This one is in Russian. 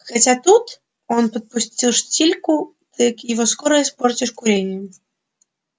хотя тут он подпустил штильку ты его скоро испортишь курением